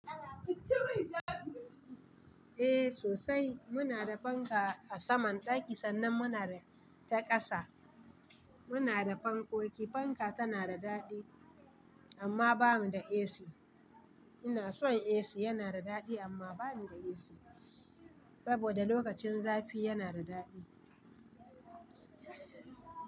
Eh sosai, muna da fanka a saman ɗaki sannan muna da ta ƙasa. Muna da fankoki. Fanka tana da daɗi, amma ba mu da AC. Ina son AC, yana da daɗi amma ba mu da AC saboda lokacin zafi yana da daɗi.